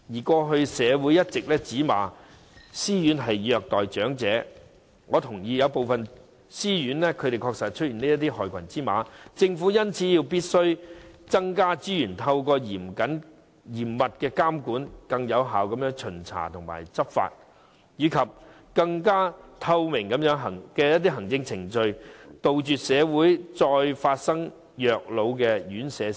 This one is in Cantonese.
過去，社會一直指責私營院舍虐待長者，我認同有部分私營院舍確實有害群之馬，因此政府必須增加資源，透過嚴密的監管、更有效的巡查和執法，以及更透明的行政程序，防止社會再發生院舍虐老事件。